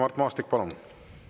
Mart Maastik, palun!